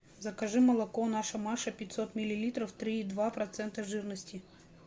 закажи молоко наша маша пятьсот миллилитров три и два процента жирности